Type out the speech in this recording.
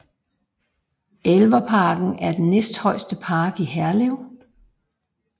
Elverparken er den næststørste park i Herlev